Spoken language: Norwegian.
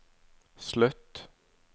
slutt